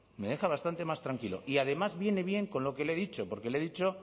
me deja bastante más tranquilo y además vienen bien con lo que le he dicho porque le he dicho